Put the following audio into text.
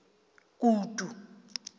kutu